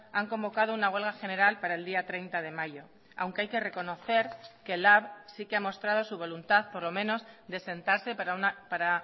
han convocado una huelga general para el día treinta de mayo aunque hay que reconocer que lab sí que ha mostrado su voluntad por lo menos de sentarse para